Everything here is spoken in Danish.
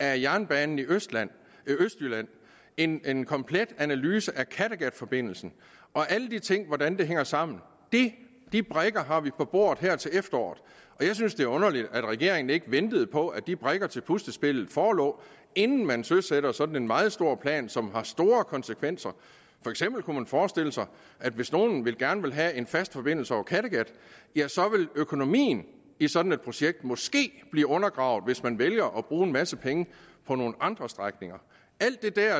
af jernbanen i østjylland en en komplet analyse af kattegatforbindelsen og alle de ting og hvordan det hænger sammen de brikker har vi på bordet her til efteråret jeg synes det er underligt at regeringen ikke ventede på at de brikker til puslespillet forelå inden man søsatte sådan en meget stor plan som har store konsekvenser for eksempel kunne man forestille sig hvis nogle gerne vil have en fast forbindelse over kattegat at økonomien i sådan et projekt måske vil blive undergravet hvis man vælger at bruge en masse penge på nogle andre strækninger alt det der